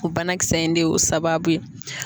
O banakisɛ in de y'o sababu ye.